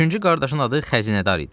Üçüncü qardaşın adı Xəzinədar idi.